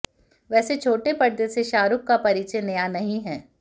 वैसे छोटे पर्दे से शाहरुख का परिचय नया नहीं है